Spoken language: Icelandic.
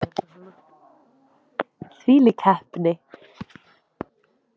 Þvílík heppni!